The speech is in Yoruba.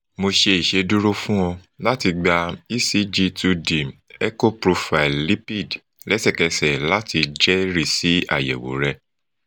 mo ṣe iṣeduro fun ọ lati gba ecg two d echo profile lipid lẹsẹkẹsẹ lati jẹrisi ayẹwo rẹ